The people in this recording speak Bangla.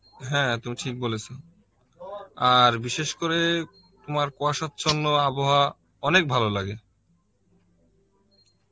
হ্যাঁ তুমি ঠিক বলেছ, আর বিশেষ করে তোমার কুয়াসার জন্য আবহাওয়া অনেক ভালো লাগে